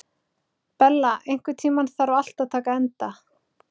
Bella, einhvern tímann þarf allt að taka enda.